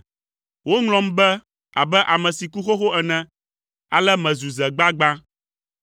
Woŋlɔm be abe ɖe meku xoxo ene, ale mezu ze gbagbã.